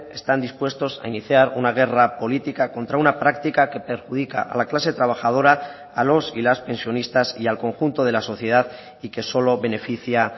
están dispuestos a iniciar una guerra política contra una práctica que perjudica a la clase trabajadora a los y las pensionistas y al conjunto de la sociedad y que solo beneficia